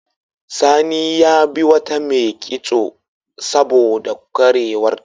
Sani ya yabi wata mai kitso saboda ƙwarewarta.